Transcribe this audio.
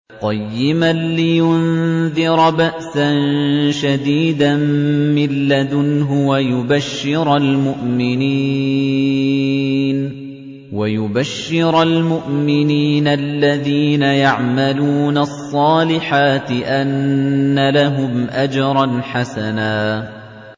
قَيِّمًا لِّيُنذِرَ بَأْسًا شَدِيدًا مِّن لَّدُنْهُ وَيُبَشِّرَ الْمُؤْمِنِينَ الَّذِينَ يَعْمَلُونَ الصَّالِحَاتِ أَنَّ لَهُمْ أَجْرًا حَسَنًا